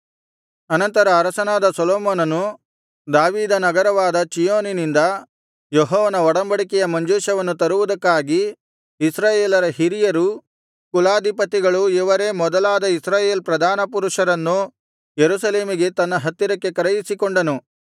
ಅನಂತರ ಅರಸನಾದ ಸೊಲೊಮೋನನು ದಾವೀದ ನಗರವಾದ ಚೀಯೋನಿನಿಂದ ಯೆಹೋವನ ಒಡಂಬಡಿಕೆಯ ಮಂಜೂಷವನ್ನು ತರುವುದಕ್ಕಾಗಿ ಇಸ್ರಾಯೇಲರ ಹಿರಿಯರೂ ಕುಲಾಧಿಪತಿಗಳು ಇವರೇ ಮೊದಲಾದ ಇಸ್ರಾಯೇಲ್ ಪ್ರಧಾನಪುರುಷರನ್ನು ಯೆರೂಸಲೇಮಿಗೆ ತನ್ನ ಹತ್ತಿರಕ್ಕೆ ಕರೆಯಿಸಿಕೊಂಡನು